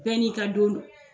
Bɛɛ n'i ka don don.